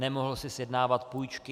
Nemohl si sjednávat půjčky.